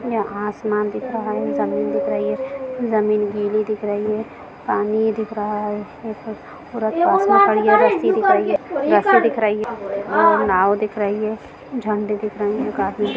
यहाँ आसमान दिख रहा है ज़मीन दिख रही है ज़मीन गीली दिख रही है पानी दिख रहा है पास में रस्सी दिख रही है रस्सी दिख रही है और नव दिख रही है झंडे दिख रहे हैं काफी--